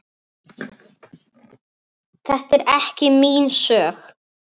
Bjössi birtist litlu seinna.